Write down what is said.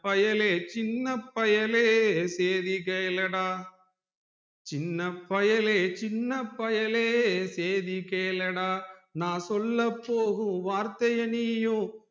சின்ன பயலே சின்ன பயலே சேதிகேளடா சின்ன பயலே சின்ன பயலே சேதிகேளடா நான் சொல்ல போகும் வார்த்தைய நீயும்